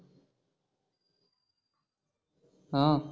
हम्म